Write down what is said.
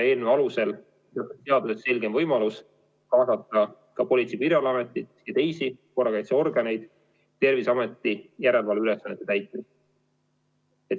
Eelnõu kohaselt on seaduses selgem võimalus kaasata Politsei- ja Piirivalveametit ja teisi korrakaitseorganeid Terviseameti järelevalveülesannete täitmiseks.